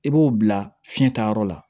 I b'o bila fiɲɛtayɔrɔ la